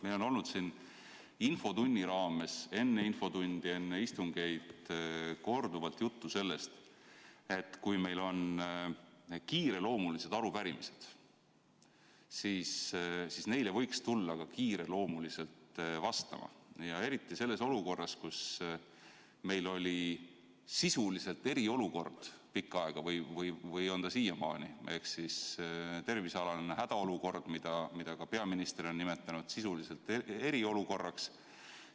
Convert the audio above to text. Meil on olnud infotunni raames, enne infotundi ja enne istungeid korduvalt juttu sellest, et kui meil on kiireloomulised arupärimised, siis võiks neile tulla ka kiireloomuliselt vastama, eriti siis, kui meil on pikka aega olnud sisuliselt eriolukord – ja on siiamaani – ehk tervisealane hädaolukord, mida peaminister on nimetanud sisuliselt eriolukorraks.